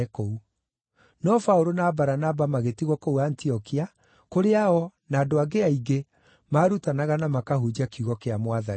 No Paũlũ na Baranaba magĩtigwo kũu Antiokia, kũrĩa o, na andũ angĩ aingĩ maarutanaga na makahunjia kiugo kĩa Mwathani.